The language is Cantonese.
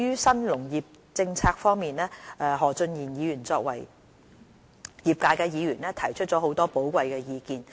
新農業政策方面，何俊賢議員作為業界議員，提出了很多寶貴意見。